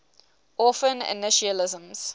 orphan initialisms